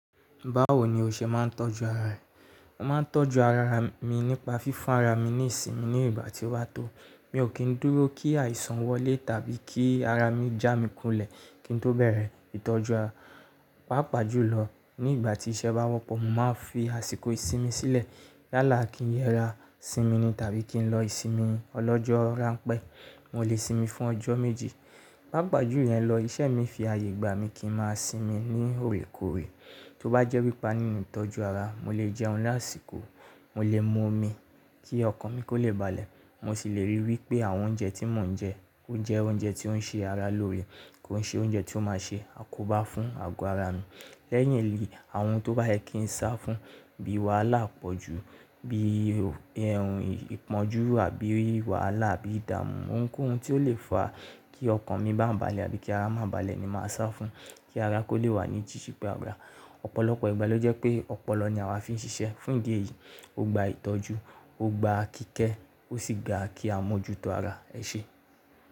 Báwo ni o ṣe máa ń tọ́jú ara rẹ? Mo máa ń tọ́jú ara mi nípa fífún ara mi ní ìsinmi ní ìgbà tí ó ba tó. Mi ò kí ń dúró kí àìsàn wọlé tàbí kí ara mi já mi kulẹ̀ kí n tó bẹ̀rẹ̀ ìtọ́jú ara. Pápàjù lọ ní ìgbà tí iṣẹ́ bá wọ́pọ̀, mo máa ń fi àsìkò ìsinmi sílẹ̀. Yálà kí n yẹra sinmi ni tàbí kí n lọ ìsinmi ọlọ́jọ́ ránpẹ́. Mo lè sinmi fún ọjọ́ méje. Pápàjù yẹ̀n lọ, iṣẹ́ mi fi àyè gba mi kí n máa sinmi ní òrèkóòrè. Tó bá jẹ́ wi pa nínú ìtọ́jú ara, mo lè jẹun lásìkò, mo lè mu omi kí ọkàn mi kó lè balẹ̀. Mo sì lè ríi wí pé àwọn oúnjẹ tí mò ń jẹ, ó jẹ́ oúnjẹ tí ó ń ṣe ara lóore, kó n ṣe oúnjẹ tí ó máa ṣe àkóbá fún àgọ́ ara mi. Lẹ́yìn èyii àwọn ohun tó bá yẹ kí n sá fún bí i wàhálà pọ̀jù, bí ohun ìpọ́njú àbí wàhálà, àbí ìdààmú, ouń kó ohun tí ó lè fa kí ọkàn mi bá balẹ̀ àbí kí ara máa balẹ̀ ni màá sá fún kí ara kó lè wà ní jíji pẹ́. Ọ̀pọ̀lọpọ̀ ìgbà ló jẹ́ pé ọpọlọ ni àwa fi ń ṣiṣẹ́. Fún ìdí èyí, ó gba ìtọ́jú, ó gba kíkẹ́, ó sì gba ki a mọ́jútó ara. Ẹ ṣe.